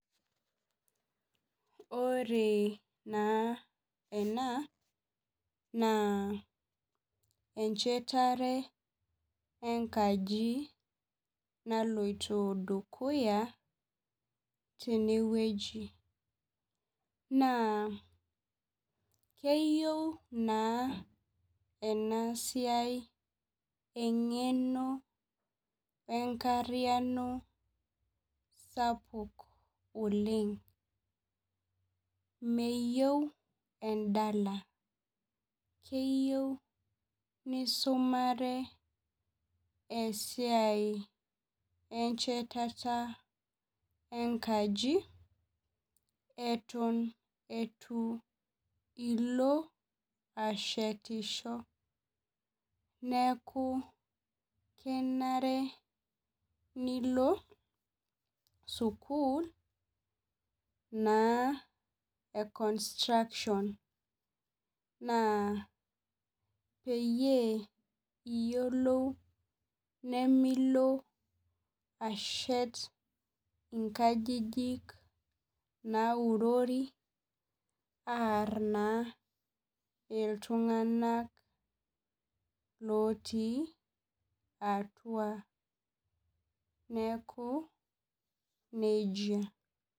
Ore na ena na echetare engaji naloito dukuya tenewueji na keyieu naenasia engeno enkariano sapuk oleng meyieu endala keyieu nisumare esiai enchetata enkaji eton itu ilo ashetisho neaky kenare nilo sukul na e construction peiyolou ajo nemilo ashet nkajijik naurori aar na ltunganak lotii atua neaku nejia.